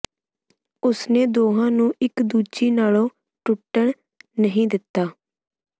ਉਸਨੇ ਦੋਹਾਂ ਨੂੰ ਇਕ ਦੂਜੀ ਨਾਲੋਂ ਟੁੱਟਣ ਨਹੀਂ ਦਿੱਤਾ